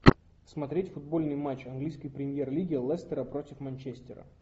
смотреть футбольный матч английской премьер лиги лестера против манчестера